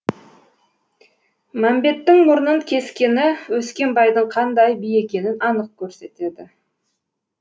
мәмбеттің мұрнын кескені өскенбайдың қандай би екенін анық көрсетеді